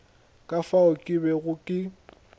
ka fao ke bego ke